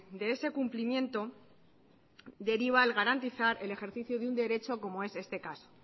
de ese cumplimiento deriva el garantizar el ejercicio de un derecho como es este caso